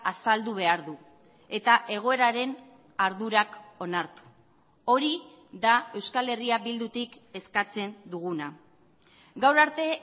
azaldu behar du eta egoeraren ardurak onartu hori da euskal herria bildutik eskatzen duguna gaur arte